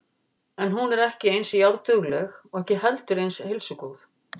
En hún er ekki eins járndugleg og ekki heldur eins heilsugóð.